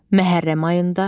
Məhərrəm ayında.